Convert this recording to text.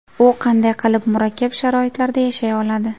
U qanday qilib murakkab sharoitlarda yashay oladi ?